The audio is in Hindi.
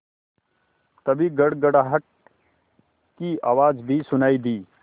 तभी गड़गड़ाहट की आवाज़ भी सुनाई दी